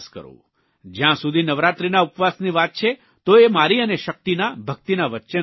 જયાં સુધી નવરાત્રીના ઉપવાસની વાત છે તો એ મારી અને શક્તિના ભક્તિના વચ્ચેનો વિષય છે